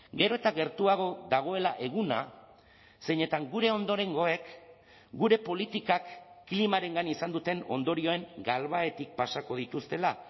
gero eta gertuago dagoela eguna zeinetan gure ondorengoek gure politikak klimarengan izan duten ondorioen galbahetik pasako dituztela